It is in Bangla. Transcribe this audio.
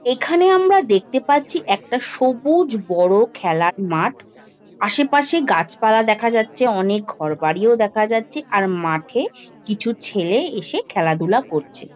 এখানে আমরা দেখতে পাচ্ছি একটা সবুজ বড় খেলার মাঠ। আশেপাশে গাছপালা দেখা যাচ্ছে অনেক ঘরবাড়িও দেখা যাচ্ছে। আর মাঠে কিছু ছেলে এসে খেলাধুলা করছে।